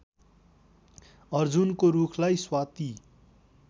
अर्जुनको रूखलाई स्वाति